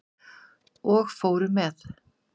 Og fóru með.